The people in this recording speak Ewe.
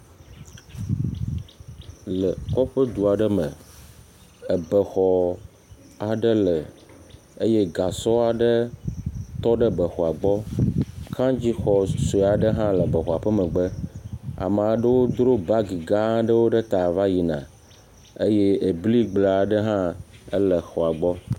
Le kɔƒe du aɖe me ebe xɔ aɖe le eye gasɔ aɖe tɔ ɖe be xɔa gbɔ. Kaŋtsi xɔ sue aɖe hã le be xɔe ƒe megbe. Ame aɖewo dro baŋgi gã aɖewo ɖe ta va yina eye bli gble aɖe hã le xɔa gbɔ.